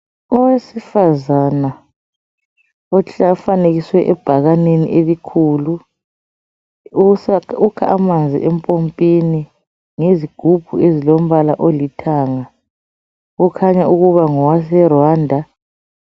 Owesifazana ufanekiswe ebhakaneni elikhulu, ukha amanzi empompini ngezigubhu ezilombala olithanga. Okhanya ukuba ngowase Rwanda.